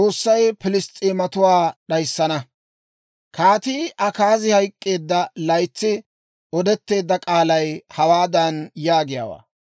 Kaatii Akaazi hayk'k'eedda laytsi odetteedda k'aalay hawaadan yaagiyaawaa;